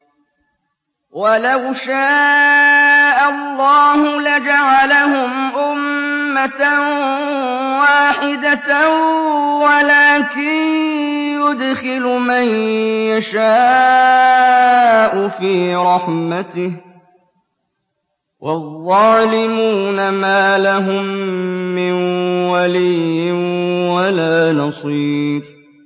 وَلَوْ شَاءَ اللَّهُ لَجَعَلَهُمْ أُمَّةً وَاحِدَةً وَلَٰكِن يُدْخِلُ مَن يَشَاءُ فِي رَحْمَتِهِ ۚ وَالظَّالِمُونَ مَا لَهُم مِّن وَلِيٍّ وَلَا نَصِيرٍ